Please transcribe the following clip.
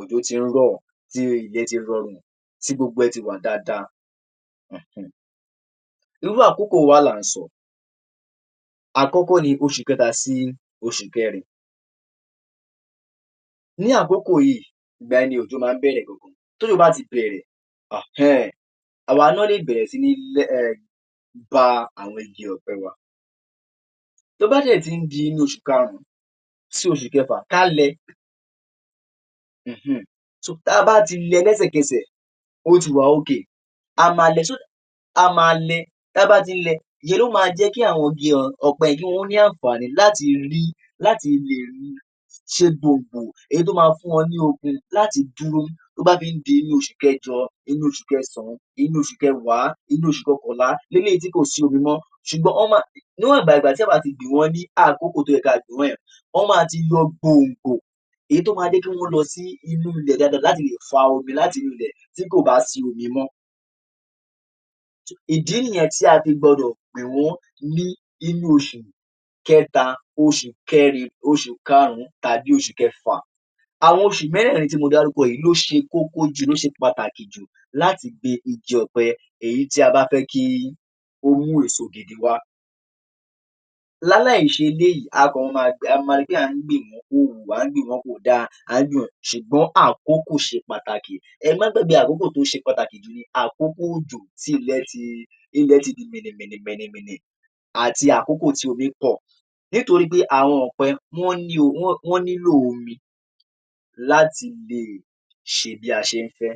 òjò ti ń rọ̀ tí ilẹ̀ ti rọrùn, tí gbogbo ẹ̀ ti wà dáadáa um. Irú àkókò wo wá là ń sọ? Àkọ́kọ́ ni oṣù kẹta sí oṣù kẹrin. Ní àkókò yìí, ìgbà yẹn ni òjò máa ń bẹ̀rẹ̀ gangan. T’ójò bá ti bẹ̀rẹ̀ um àwa náà lè bẹ̀rẹ̀ sí ní um ba àwọn igi ọ̀pẹ wa. Tó bá dẹ̀ tí ń di inú oṣù karùn sí oṣù kẹfà ká lẹ um ta bá ti lẹ lẹ́sẹ̀kẹsẹ̀, ó ti wà ok a máa lẹ, a máa lẹ ta bá ti lẹ ìyẹn ló máa jẹ́ kí àwọn igi ọ̀pẹ kí wọ́n ní àǹfàní láti rí láti lè ri ṣe gbòǹgbò èyí tó máa fún wọn ní okun láti dúró tó báh fi ń di inú oṣù kẹjọ, inú oṣù kẹsàn, inú oṣù kẹwàá, inú oṣù kọkànlá eléyìí tí kò sí omi mọ́ ṣùgbọ́n wọ́n máa um níwọ̀nba ìgbà tí a bá ti gbìn wọ́n ní àkókò ìgbà tó yẹ ka gbìn wọ́n yẹn wọ́n máa ti yọ gbòǹgbò èyí tó máa jẹ́ kí wọ́n lọ sí inú ilẹ̀ dáadáa láti lè fa omi láti inú ilẹ̀ tí kò bá sí omi mọ́. so ìdí nìyẹn tí a fi gbọdọ̀ gbìn wọ́n ní inú oṣù kẹta, oṣù kẹrin, oṣù karùn tàbí oṣù kẹfà. Àwọn oṣù mẹ́rẹ̀ẹ̀rin tí mo dárúkọ yìí ló ṣe kókó jù, ló ṣe pàtàkì jù láti gbin igi ọ̀pẹ èyí tí a bá fẹ́ kí ó mú èso gidi wá. Láláì ṣe eléyìí a máa ri pé àń gbìn wọ́n kò dáa ṣùgbọ́n àkókò ṣe pàtàkì ẹ má gbàgbé àkókò tó ṣe pàtàkì ní àkókò òjò tí ilẹ̀ ti di mìnìmìnìmìnìmìnì àti àkókò tí omí pọ̀ nítorí pé àwọn ọ̀pẹ wọ́n nílò omi láti lè ṣe bí a ṣe ń fẹ́